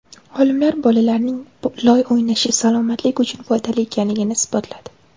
Olimlar bolalarning loy o‘ynashi salomatlik uchun foydali ekanligini isbotladi.